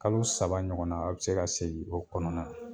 Kalo saba ɲɔgɔnna a bi se ka segin o kɔnɔna na